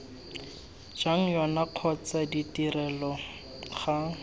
jwa yona kgotsa ditrelo ga